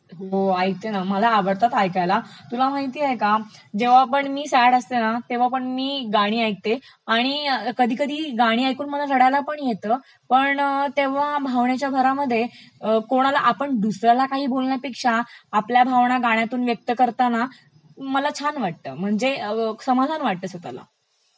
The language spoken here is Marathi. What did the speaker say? हो ऐकते ना, मला आवडतात ऐकायला. तुला माहितेय का जेव्हापण मी सॅड असते ना तेव्हा पण मी गाणी ऐकते आणि कधी कधी गाणी ऐकून मला रडायलापण येत, पण तेव्हा भावनेच्या भरामध्ये कोणाला आपण दुसऱ्याला काही बोलण्यापेक्षा आपल्या भावना गाण्यातून व्यक्त करताना मला छान वाटत म्हणजे समाधान वाटत स्वतःला.